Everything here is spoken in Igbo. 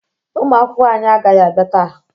Ụmụakwụkwọ anyị agaghị abịa taa